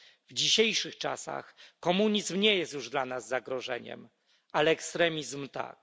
W dzisiejszych czasach komunizm nie jest już dla nas zagrożeniem, ale ekstremizm tak.